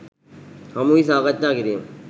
හමුවී සාකච්ඡා කිරීම